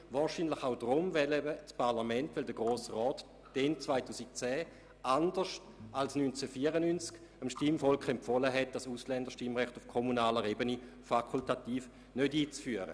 Wahrscheinlich war dies auch deshalb so, weil der Grosse Rat damals – anders als 1994 – dem Stimmvolk empfahl, das fakultative Ausländerstimmrecht auf kommunaler Ebene nicht einzuführen.